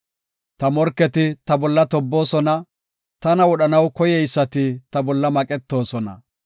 Ta morketi ta bolla tobboosona; Tana wodhanaw koyeysati ta bolla maqetoosona.